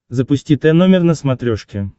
запусти тномер на смотрешке